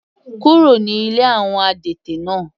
Kúrò ní ilé àwọn adẹ́tẹ̀ náà.